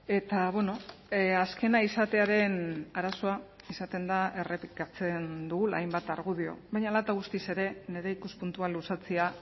eta azkena izatearen arazoa izaten da errepikatzen dugula hainbat argudio baina hala eta guztiz ere nire ikuspuntua luzatzea